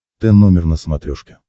т номер на смотрешке